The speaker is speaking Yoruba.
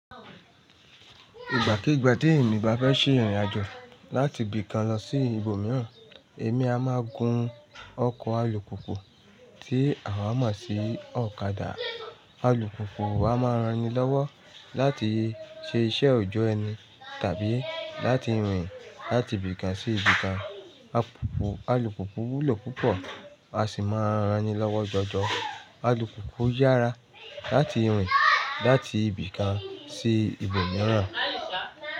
Ìgbàkiígbà tí èmi bá fẹ́ ṣe ìrìn-àjò láti ibì kan lọ sí ibòmíràn, èmi a máa gun ọkọ̀ alùpùpù tí àwa mọ̀ sí ọ̀kadà. Alùpùpù a máa ran ni lọ́wọ́ láti ṣe iṣẹ́ oòjọ́ ẹni tàbí láti rìn láti ibì kan sí ibì kan. Alùpùpù wúlò púpọ̀ a sì máa ran ni lọ́wọ́ jọjọ. Alùpùpù yára láti rìn láti ibì kan sí ibòmíràn.